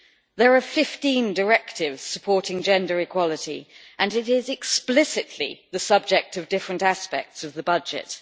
There are 15 directives supporting gender equality and it is explicitly the subject of different aspects of the budget.